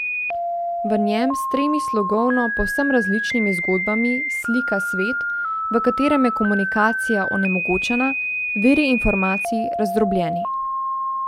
V njem s tremi slogovno povsem različnimi zgodbami slika svet, v katerem je komunikacija onemogočena, viri informacij razdrobljeni.